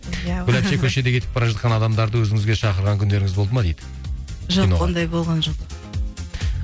гүл әпше көшеде кетіп бара жатқан адамдарды өзіңізге шақырған күндеріңіз болды ма дейді киноға жоқ ондай болған жоқ